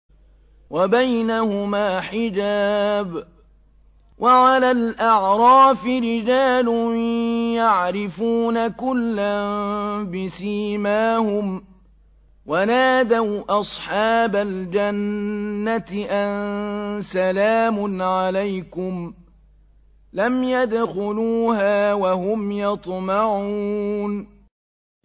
وَبَيْنَهُمَا حِجَابٌ ۚ وَعَلَى الْأَعْرَافِ رِجَالٌ يَعْرِفُونَ كُلًّا بِسِيمَاهُمْ ۚ وَنَادَوْا أَصْحَابَ الْجَنَّةِ أَن سَلَامٌ عَلَيْكُمْ ۚ لَمْ يَدْخُلُوهَا وَهُمْ يَطْمَعُونَ